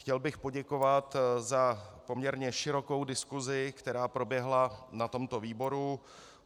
Chtěl bych poděkovat za poměrně širokou diskusi, která proběhla na tomto výboru.